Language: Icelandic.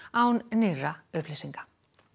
án nýrra upplýsinga